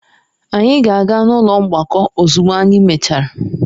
Anyị ga-aga n'ụlọ mgbakọ ozugbo anyị mechara.